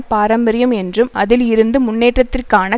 பாரம்பாரியம் என்றும் அதில் இருந்து முன்னேற்றத்திற்கான